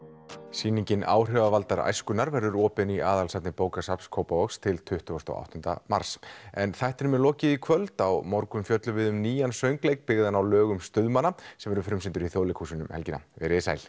sýningin áhrifavaldar æskunnar verður opin í aðalsafni bókasafns Kópavogs til tuttugasta og áttunda mars en þættinum er lokið í kvöld á morgun fjöllum við um nýjan söngleik byggðan á lögum stuðmanna sem verður frumsýndur í Þjóðleikhúsinu um helgina veriði sæl